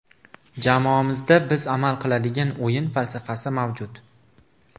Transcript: Jamoamizda biz amal qiladigan o‘yin falsafasi mavjud.